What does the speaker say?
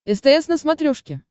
стс на смотрешке